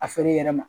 A feere i yɛrɛ ma